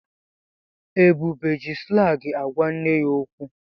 Ebube ji slangị ágwá nne ya okwu.